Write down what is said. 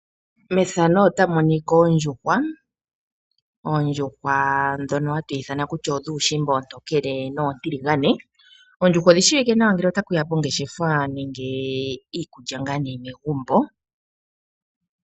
Opuna oondjuhwa dhimwe haku tiwa odhuushimba oontokele noontiligane. Oondjuhwa odhi shiwike nawa ngele ota shiya pongeshefa nenge iikulya megumbo.